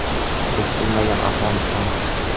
Biz bilmagan Afg‘oniston.